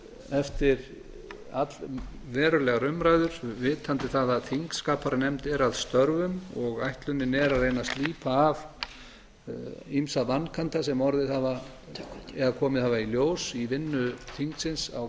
eftir allverulegar umræður vitandi það að þingskapanefnd er að störfum og ætlunin er að reyna að slípa af ýmsa vankanta sem komið hafa í ljós í vinnu þingsins á